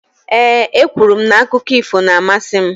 Ee, e kwuru m na akụkọ ífò na-amasị m.